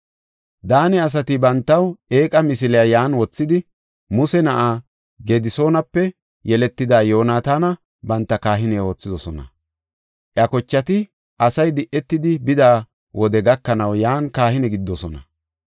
Daane asati bantaw eeqa misiliya yan wothidi, Muse na7aa Gedisoonape yeletida Yoonataana banta kahine oothidosona. Iya kochati asay di77etidi bida wode gakanaw yan kahine gididosona.